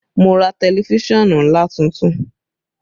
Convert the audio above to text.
Mo ra tẹlifísàn ńlá tuntun